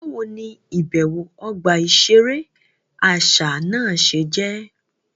Báwo ní ibẹwo ọgba iṣere àṣà náà ṣe jẹ?